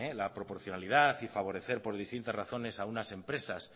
la proporcionalidad y favorecer por distintas razones a unas empresas